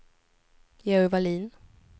Georg Vallin